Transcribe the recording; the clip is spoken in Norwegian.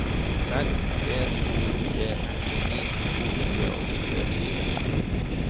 seks tre to tre åttini to hundre og tjuefire